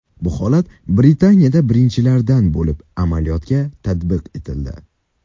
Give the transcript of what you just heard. Bu holat Britaniyada birinchilardan bo‘lib amaliyotga tatbiq etildi.